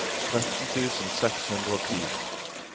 tretten tusen seks hundre og ti